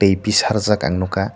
a bhi sarjak ang nogkha.